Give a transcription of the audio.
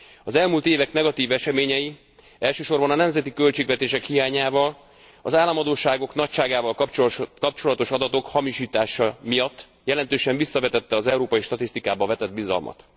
Az elmúlt évek negatív eseményei elsősorban a nemzeti költségvetések hiányával, az államadósságok nagyságával kapcsolatos adatok hamisítása miatt jelentősen visszavetették az európai statisztikába vetett bizalmat.